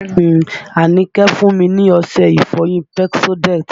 Àníkẹ́ fún mi ní ọṣẹ ìfọyín Pepsodent